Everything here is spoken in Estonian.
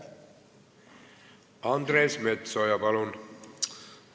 Andres Metsoja, palun!